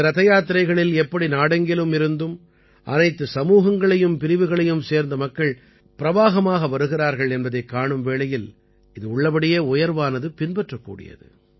இந்த ரதயாத்திரைகளில் எப்படி நாடெங்கிலும் இருந்தும் அனைத்துச் சமூகங்களையும் பிரிவுகளையும் சேர்ந்த மக்கள் பிரவாகமாக வருகிறார்கள் என்பதைக் காணும் வேளையில் இது உள்ளபடியே உயர்வானது பின்பற்றக் கூடியது